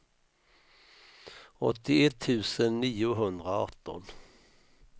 åttioett tusen niohundraarton